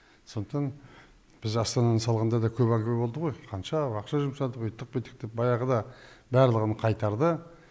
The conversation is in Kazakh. сондықтан біз астананы салғанда да көп әңгіме болды ғой қанша ақша жұмсадық үйттік бүйттік деп баяғыда барлығын қайтарды